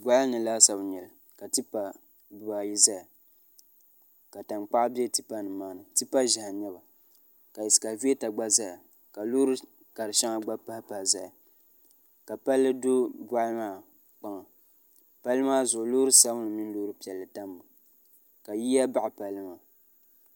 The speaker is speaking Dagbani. boɣali ni laasabu n nyɛli ka tipa dibaayi ʒɛya ka tankpaɣu bɛ tipa nim maa ni tipa. ʒiɛhi n nyɛba ka ɛskavɛta gba ʒɛya ka loori shɛŋa gba pahi pahi ʒɛya ka palli do Boɣali maa kpaŋa palli maa zuɣu loori sabinli mini loori piɛlli tammi ka yiya baɣa palli maa